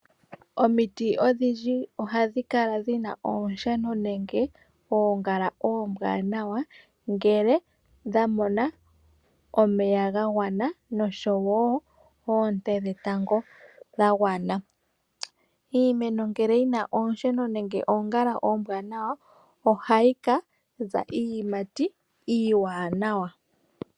Omiti odhindji ohadhi kala dhina oonsheno nenge oongala oombwaanawa ngele dha mona omeya ga gwana noshowo oonte dhetango dha gwana. Iimeno ngele yina oonsheno nenge oongala oombwanawa ohayi ka za iiyimati iiwanawa.